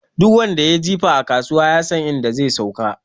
Duk wanda yayi jifa a kasuwa, yasan inda zai sauka.